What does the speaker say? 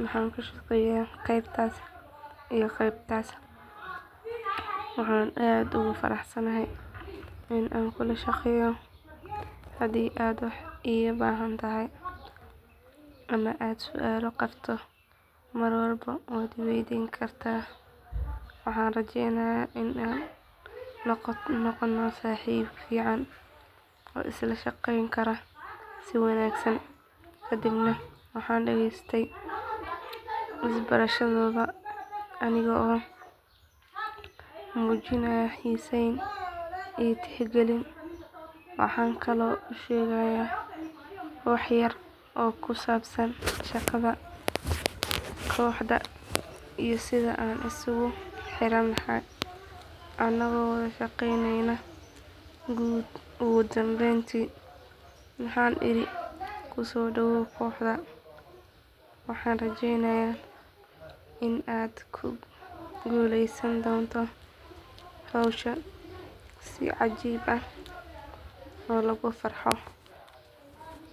waxaana ka shaqeeyaa qaybtaas iyo qaybtaas waxaan aad ugu faraxsanahay in aan kula shaqeeyo haddii aad wax iga baahan tahay ama aad su’aal qabto mar walba waad i waydiin kartaa waxaana rajeynayaa in aan noqono saaxiibo fiican oo isla shaqeyn kara si wanaagsan kadibna waxaan dhagaystay isbarashadooda anigoo muujinaya xiiseyn iyo tixgelin waxaan kaloo u sheegay wax yar oo ku saabsan shaqada kooxda iyo sida aan isugu xirannahay anagoo wada shaqeyneyna ugu dambeyntii waxaan iri ku soo dhawoow kooxda waxaana rajeynayaa in aad ku guuleysan doonto hawshaada si cajiib ah oo lagu farxo.